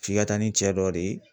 F'i ka taa ni cɛ dɔ de ye